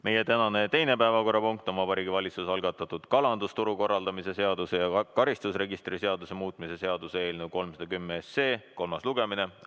Meie tänane teine päevakorrapunkt on Vabariigi Valitsuse algatatud kalandusturu korraldamise seaduse ja karistusregistri seaduse muutmise seaduse eelnõu 310 kolmas lugemine.